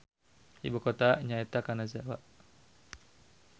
Ibukotana nyaeta Kanazawa.